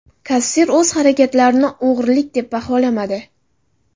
Kassir o‘z harakatlarini o‘g‘rilik deb baholamadi.